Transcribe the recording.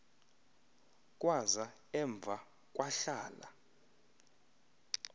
kwaza emva kwahlala